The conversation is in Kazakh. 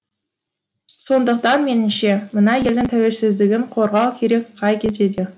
сондықтан менімше мына елдің тәуелсіздігін қорғау керек қай кезде де